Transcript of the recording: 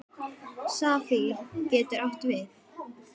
Safír getur átt við